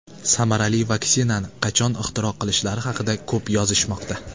Samarali vaksinani qachon ixtiro qilishlari haqida ko‘p yozishmoqda.